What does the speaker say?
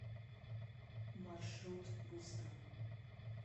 маршрут бустан